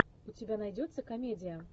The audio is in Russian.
у тебя найдется комедия